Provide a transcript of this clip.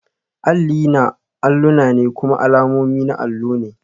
Alli na alluna ne kuma alamomi na allo ne